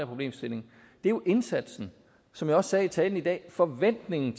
problemstilling jo indsatsen som jeg også sagde i talen i dag er forventningen